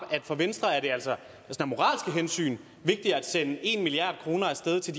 for venstre er det altså af moralske hensyn vigtigere at sende en milliard kroner af sted til